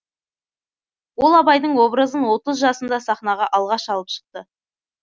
ол абайдың образын отыз жасында сахнаға алғаш алып шықты